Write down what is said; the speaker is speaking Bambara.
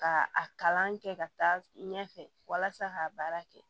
Ka a kalan kɛ ka taa ɲɛfɛ walasa ka baara kɛ